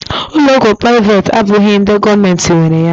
Ụlọ ọgwụ privati abụghị ndị gọọmenti nwere ya